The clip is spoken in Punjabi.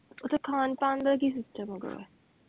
ਓਥੇ ਖਾਣ ਪਾਣ ਦਾ ਕਿ system ਹੈਗਾ?